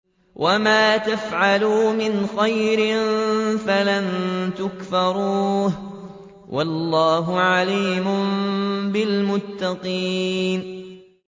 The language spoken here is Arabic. وَمَا يَفْعَلُوا مِنْ خَيْرٍ فَلَن يُكْفَرُوهُ ۗ وَاللَّهُ عَلِيمٌ بِالْمُتَّقِينَ